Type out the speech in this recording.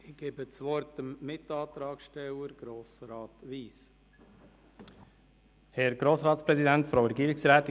Als Mitantragssteller erhält Grossrat Wyss das Wort.